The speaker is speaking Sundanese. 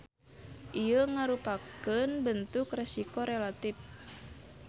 Ieu ngarupakeun bentuk resiko relatip.